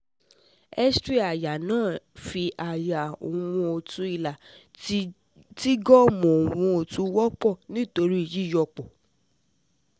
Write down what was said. X-ray aya naa fi aya um ohun otu hilar ti ti gum ohun otu wọpọ nitori yiyọpọ